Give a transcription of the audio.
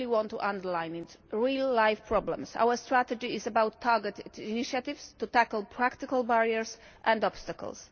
I really want to underline this the real-life problems. Our strategy is about targeted initiatives to tackle practical barriers and obstacles.